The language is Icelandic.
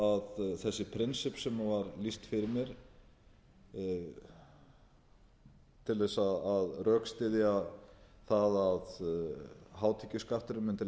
að þessi prinsipp sem var lýst fyrir mér til þess að rökstyðja það að hátekjuskatturinn mundi